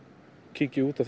kíki út